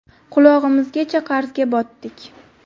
Qulog‘imizgacha qarzga botdik.